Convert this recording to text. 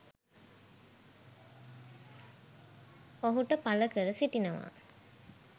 ඔහුට පළ කර සිටිනවා.